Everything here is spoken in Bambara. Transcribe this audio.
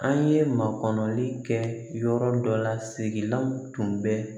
An ye makɔnɔli kɛ yɔrɔ dɔ la sigilanw tun bɛ